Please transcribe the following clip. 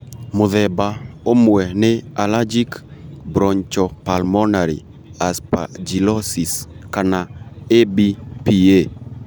Mũthemba ũmwe nĩ allergic bronchopulmonary aspergillosis (kana ABPA)